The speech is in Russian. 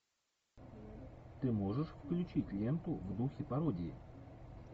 ты можешь включить ленту в духе пародии